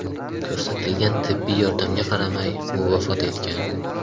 Ko‘rsatilgan tibbiy yordamga qaramay, u vafot etgan.